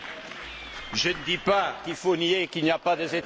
Je ne dis pas qu'il faut nier qu'il y a des États membres!